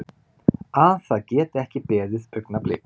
Að það geti ekki beðið augnablik.